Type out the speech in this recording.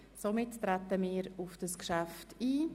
Somit treten wir auf dieses Geschäft ein.